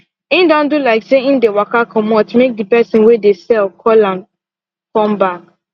en do like say en dey waka comot make the person wey de sell call am come back